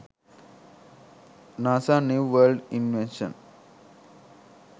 nasa new world invention